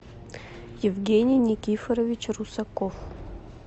евгений никифорович русаков